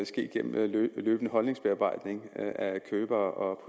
ske gennem en løbende holdningsbearbejdning af købere og